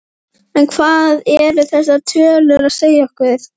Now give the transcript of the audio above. En hvað eru þessar tölu að segja okkur?